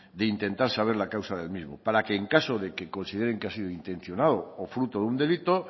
de intentar saber la causa del mismo para que en caso de que consideren que ha sido intencionado o fruto de un delito